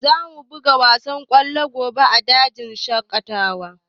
Za mu buga wasan golf gobe a dajin shaƙatawa